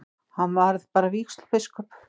Hann varð bara vígslubiskup.